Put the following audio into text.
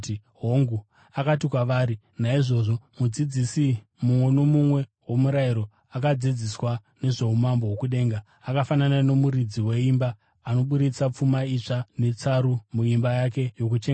Akati kwavari, “Naizvozvo mudzidzisi mumwe nomumwe womurayiro akadzidziswa nezvoumambo hwokudenga akafanana nomuridzi weimba anoburitsa pfuma itsva netsaru muimba yake yokuchengetera zvinhu.”